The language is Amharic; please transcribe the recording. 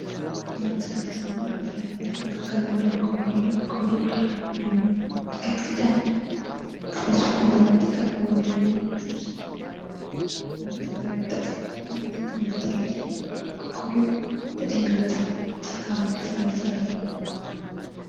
ከአትክልትና ፍራፍሬዎች መካከል አንዱ አቮካዶ አለ አቮካዶ ቀጥቅጠን በስኳር በመጠቀም ወይም ደግሞ ጁስ አድርገን እንጠቀምበትአለን አቮካዶ ለጤና በጣም ጠቃሚ ፍራፍሬ ነው።